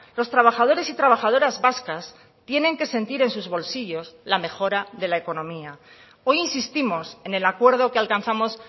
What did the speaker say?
los trabajadores y trabajadoras vascas tienen que sentir en sus bolsillos la mejora de la economía hoy insistimos en el acuerdo que alcanzamos